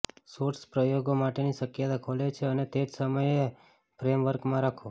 shorts પ્રયોગો માટેની શક્યતા ખોલે છે અને તે જ સમયે ફ્રેમવર્કમાં રાખો